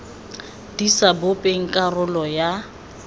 di sa bopeng karolo ya